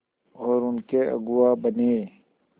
और उनके अगुआ बने